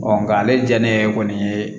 nka ale diya ne ye kɔni